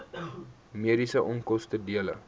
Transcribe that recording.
mediese onkoste dele